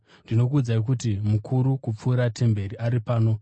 Ndinokuudzai kuti mukuru kupfuura temberi ari pano.